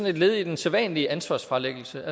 et led i den sædvanlige ansvarsfralæggelse